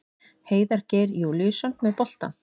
Heiðar Geir Júlíusson með boltann.